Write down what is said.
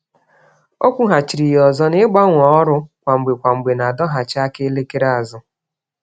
Ọ kwughachịrị ya ọzọ na igbanwe ọrụ kwa mgbe kwa mgbè, n'adọghachị aka elekere azụ